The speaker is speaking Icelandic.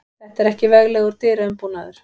Þetta var ekki veglegur dyraumbúnaður.